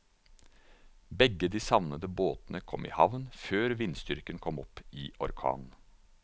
Begge de savnede båtene kom i havn før vindstyrken kom opp i orkan.